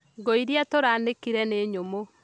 Ngũĩrĩa tũraanĩkire nĩ nyũmũ